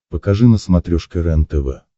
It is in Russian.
покажи на смотрешке рентв